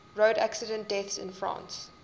road accident deaths in france